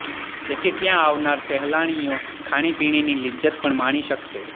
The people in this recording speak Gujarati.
જેથી ત્યાં આવનાર સહેલાણીઓ ખાણીપીણીની લિજ્જત પણ માણી શકશે